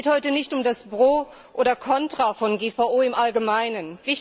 Es geht heute nicht um das Pro oder Kontra von GVO im Allgemeinen.